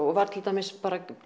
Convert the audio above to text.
og var til dæmis